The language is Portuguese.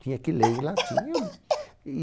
Tinha que ler em latim. Eu li,